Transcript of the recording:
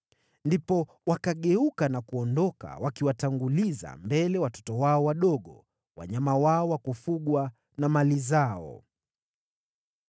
Ndipo wakageuka na kuondoka wakiwatanguliza mbele watoto wao wadogo, wanyama wao wa kufugwa na mali zao.